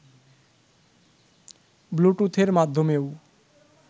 ব্লুটুথের মাধ্যমেও